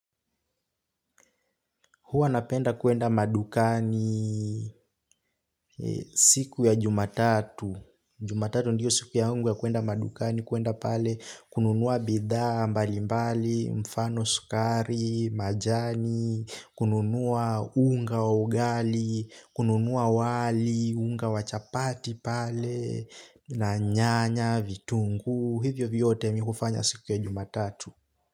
Huwa napenda kuenda madukani siku ya jumatatu. Jumatatu ndiyo siku yangu ya kuenda madukani, kuenda pale, kununua bidhaa, mbalimbali, mfano sukari, majani, kununua unga wa ugali, kununua wali, unga wa chapati pale, na nyanya, vitunguu, hivyo vyote mimi hufanya siku ya jumatatu.